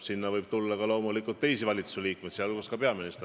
Sinna võib tulla loomulikult ka teisi valitsusliikmeid, sh peaminister.